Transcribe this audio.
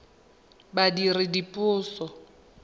badiredipuso